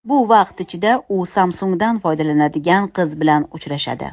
Bu vaqt ichida u Samsung‘dan foydalanadigan qiz bilan uchrashadi.